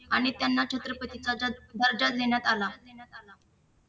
आणि त्यांना छत्रपतीचा दर्जा देण्यात आला देण्यात आला